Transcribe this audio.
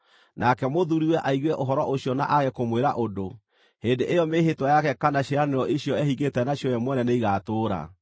nake mũthuuriwe aigue ũhoro ũcio na aage kũmwĩra ũndũ, hĩndĩ ĩyo mĩĩhĩtwa yake kana ciĩranĩro icio ehingĩte nacio we mwene nĩigatũũra.